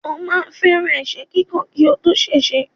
Ó máà ń fẹ́ràn ẹ̀sẹ́ kíkàn kí ó tó ṣèṣe.